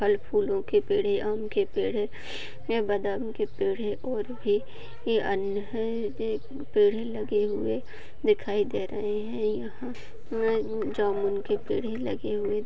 फल फूलों के पेड़े आम के पेड़े है या बादाम के पेढ़े है और भी यहा अन्य पेड़े लगे हुवे दिखाई दे रहे है यह जामून के पेड़ ही लगे हुवे--